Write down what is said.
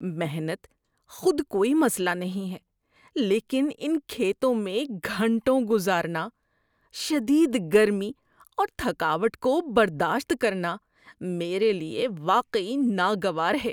محنت خود کوئی مسئلہ نہیں ہے، لیکن ان کھیتوں میں گھنٹوں گزارنا، شدید گرمی اور تھکاوٹ کو برداشت کرنا، میرے لیے واقعی ناگوار ہے۔